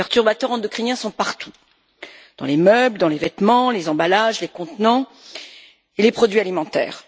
Les perturbateurs endocriniens sont partout dans les meubles, les vêtements, les emballages, les contenants et les produits alimentaires.